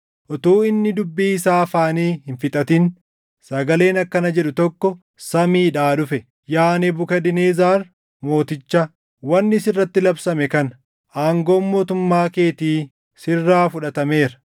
Utuu inni dubbii isaa afaanii hin fixatin sagaleen akkana jedhu tokko samiidhaa dhufe; “Yaa Nebukadnezar Mooticha, wanni sirratti labsame kana: Aangoon mootummaa keetii sirraa fudhatameera.